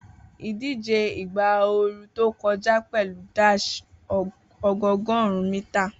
Idije igba ooru to kọja pẹlu dash ọgọọgọrun mita